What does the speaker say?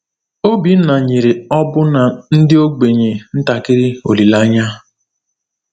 Obinna nyere ọbụna ndị ogbenye ntakịrị olileanya.